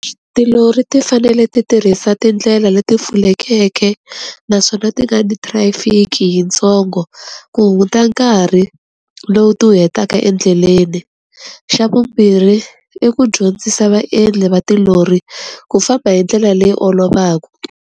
Tilori ti fanele ti tirhisa tindlela leti pfulekeke, naswona ti nga thirafiki yi tsongo, ku hunguta nkarhi lowu ti wu hetaka endleleni. Xa vumbirhi, i ku dyondzisa vaendli va tilori, ku famba hi ndlela leyi olovaka.